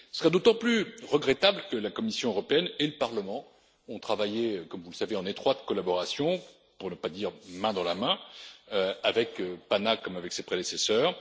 Ce serait d'autant plus regrettable que la Commission européenne et le Parlement ont travaillé comme vous le savez en étroite collaboration, pour ne pas dire main dans la main, avec la commission PANA comme avec ses prédécesseurs.